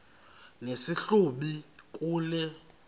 nesi hlubi kule